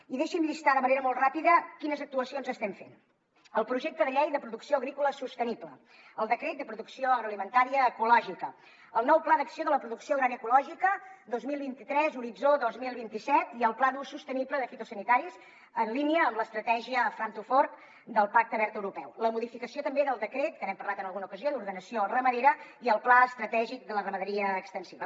i deixi’m llistar de manera molt ràpida quines actuacions estem fent el projecte de llei de producció agrícola sostenible el decret de producció agroalimentària ecològica el nou pla d’acció de la producció agrària ecològica dos mil vint tres horitzó dos mil vint set i el pla d’ús sostenible de fitosanitaris en línia amb l’estratègia farm to fork del pacte verd europeu la modificació també del decret que n’hem parlat en alguna ocasió d’ordenació ramadera i el pla estratègic de la ramaderia extensiva